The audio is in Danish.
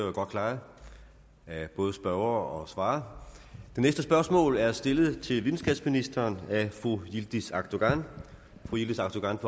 er jo godt klaret af både spørgere og svarer den næste spørgsmål er stillet til videnskabsministeren af fru yildiz akdogan yildiz akdogan